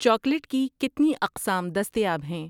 Chocolate کی کتنی اقسام دستیاب ہیں؟